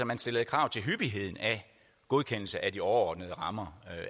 man stillede krav til hyppigheden af godkendelse af de overordnede rammer